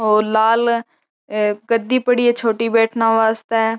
लाल गद्दी पड़ी है बैठने के वास्ते।